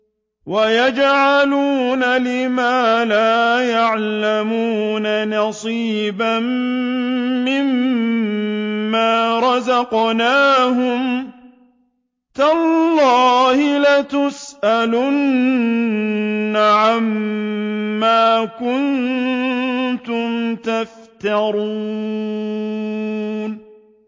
وَيَجْعَلُونَ لِمَا لَا يَعْلَمُونَ نَصِيبًا مِّمَّا رَزَقْنَاهُمْ ۗ تَاللَّهِ لَتُسْأَلُنَّ عَمَّا كُنتُمْ تَفْتَرُونَ